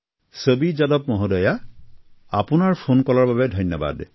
চাভী যাদৱ মহোদয়া আপোনাৰ ফোনকলৰ বাবে ধন্যবাদ